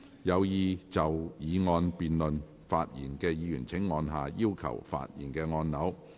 有意就議案辯論發言的議員請按下"要求發言"按鈕。